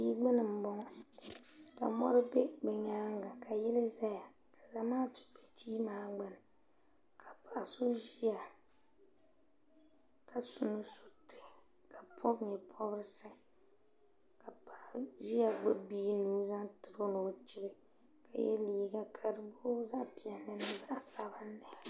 ka mɔri bɛ bi nyaanga ka yili ʒɛya zamaatu bɛ tia maa gbuni ka paɣa so ʒiya ka su nusuriti ka pobi nyɛ pobirisi ka paɣa ʒiya gbubi bia nuu zaŋ tiro ni o deei ka yɛ liiga ka di booi zaɣ piɛlli mini zaɣ sabinli